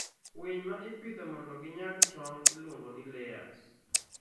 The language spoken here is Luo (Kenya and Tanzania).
Winy ma ipidho mondo ginyag tong' iluongo ni layers.